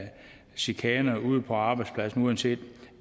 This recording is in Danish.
chikaner ude på arbejdspladsen uanset